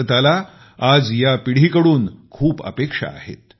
भारताला आज या पिढीकडून खूप अपेक्षा आहेत